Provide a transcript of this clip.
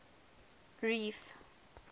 reef